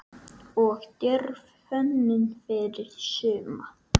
Of djörf hönnun fyrir suma?